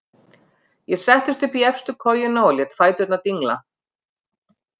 Ég settist upp í efstu kojuna og lét fæturna dingla.